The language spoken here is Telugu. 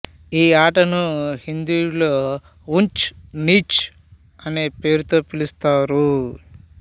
ఈ ఆటను హిందీలో ఊంచ్ నీచ్ అనే పేరుతో పిలుస్తారు